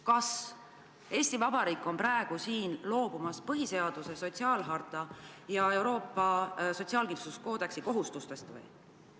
Kas Eesti Vabariik on hakanud loobuma põhiseaduse, Euroopa sotsiaalharta ja Euroopa sotsiaalkindlustuskoodeksiga ette nähtud kohustuste täitmisest?